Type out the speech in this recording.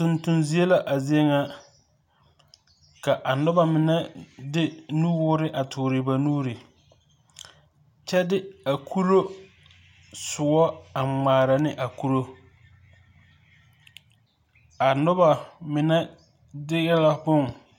Tontonzie la a zie ŋa ka a noba mine de nuwoore a toore ba nuuri kyɛ de a kuro soɔ a ŋmaara ne a kuro a noba mine de la bon.